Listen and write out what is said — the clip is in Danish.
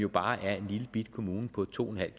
bare er en lillebitte kommune på to en halv